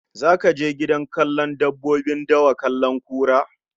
Zaka je gidan kallon dabbobin dawa kallon kura?